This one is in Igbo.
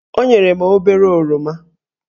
O nyere m obere oroma